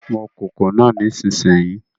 Mọ kòkò náà nísìnyí